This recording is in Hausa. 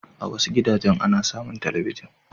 A wasu gidajen ana samun talabijin.